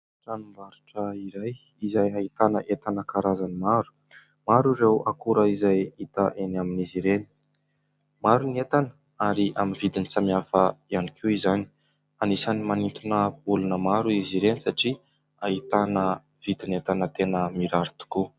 Tranom-barotra iray izay ahitana entana karazany maro. Maro ireo akora izay hita eny amin'izy ireny. Maro ny entana ary amin'ny vidiny samihafa ihany koa izany. Anisany manintona olona maro izy ireny satria ahitana vidin'entana tena mirary tokoa.